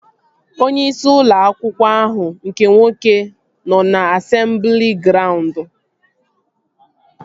Onyeisi ụlọ akwụkwọ ahụ nke nwoke nọ na asemblị graund